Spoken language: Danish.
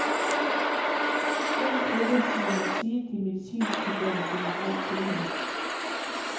Den gruppe må man sige, de medicinstuderende generelt tilhører.